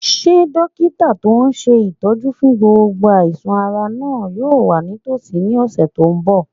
Ṣé dókítà tó n ṣe ìtọ́jú fún gbogbo àìsàn-ara náà yóò wà nítòsí ní ọ̀sẹ̀ tó n bọ̀?